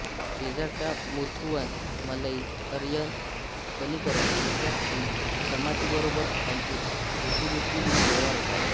शेजारच्या मुथुवन मलई अरयन कणिकरन इ जमातीबरोबर त्यांचे रोटीबेटी व्यवहार होतात